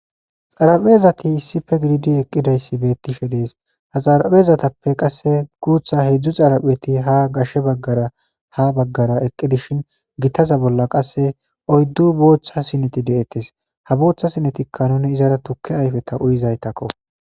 Xarapheezati issife gididi eqqidayssi beettishe dees ha xarapheezatappe qasse guutha hedzdzu xarapheti ha gashshe baggara ha baggara eqqi dishin gitaza bolla qasse oyddu boochcha sineti de'ettes ha boochtha sinetikka nuni izara tukke ayfeta uyizaytakko.